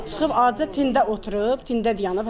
Çıxıb adicə tində oturub, tində dayanıb.